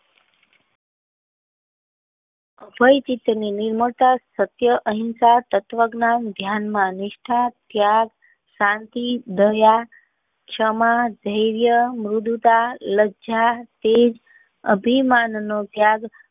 કોઈ ચિંતા ને શક્ય અહિંસા તત્વ જ્ઞાન ધ્યાન માં નિષ્ઠા ત્યાગ શાંતિ દયા ક્ષમા ધૈર્ય મૃદુતા લજ્જા તેજ અભિમાન નો ત્યાગ.